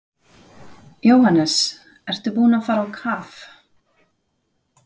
Jóhannes: Ertu búinn að fara á kaf?